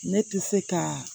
Ne tɛ se ka